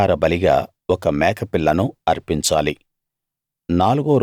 పాపపరిహార బలిగా ఒక మేకపిల్లను అర్పించాలి